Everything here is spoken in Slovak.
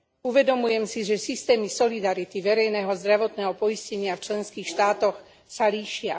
Uvedomujem si, že systémy solidarity verejného zdravotného poistenia v členských štátoch sa líšia.